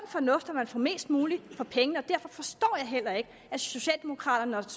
fornuft at man får mest muligt for pengene og derfor forstår jeg heller ikke at socialdemokraterne og